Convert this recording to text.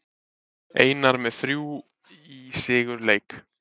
Einar með þrjú í sigurleik